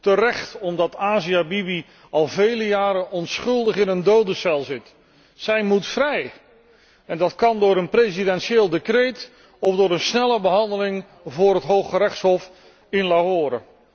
Terecht, omdat Asia Bibi al vele jaren onschuldig in een dodencel zit. Zij moet vrij! En dat kan door een presidentieel decreet of door een snelle behandeling voor het Hooggerechtshof in Lahore.